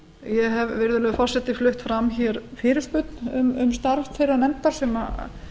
ég hef virðulegi forseti flutt fram fyrirspurn um starf þeirrar nefndar sem